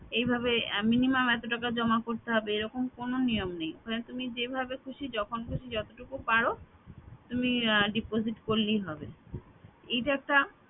এইভাবে minimum এত টাকা জমা করতে হবে এরকম কোনো নিয়ম নেই তুমি যেভাবে খুশি যখন খুশি যতটুকু পার তুমি আহ deposit করলেই হবে এটা একটা